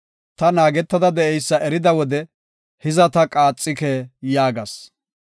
Ta naagetada de7eysa erida wode “Hiza ta qaaxike” yaagas.